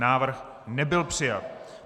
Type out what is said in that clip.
Návrh nebyl přijat.